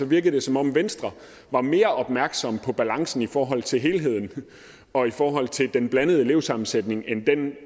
virker som om venstre var mere opmærksomme på balancen i forhold til helheden og i forhold til den blandede elevsammensætning end den